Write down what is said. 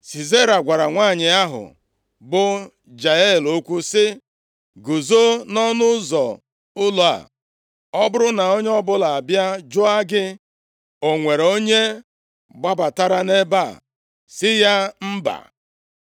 Sisera gwara nwanyị ahụ bụ Jael okwu sị, “Guzo nʼọnụ ụzọ ụlọ a. Ọ bụrụ na onye ọbụla abịa jụọ gị, ‘O nwere onye gbabatara nʼebe a?’ sị ya, ‘Mba.’ ”